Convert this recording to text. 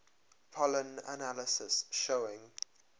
pollen analysis showing